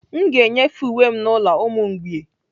M ga-enyefe uwe m n'ụlọ ụmụ mgbei